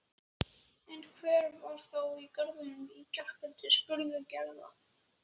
En hver var þá í garðinum í gærkvöldi? spurði Gerður.